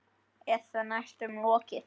Eða næstum lokið.